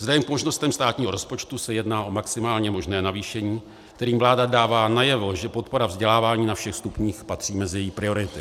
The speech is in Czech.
Vzhledem k možnostem státního rozpočtu se jedná o maximálně možné navýšení, kterým vláda dává najevo, že podpora vzdělávání na všech stupních patří mezi její priority.